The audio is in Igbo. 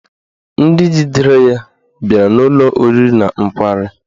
Ndị jidere ya bịara n'ụlọ oriri na nkwari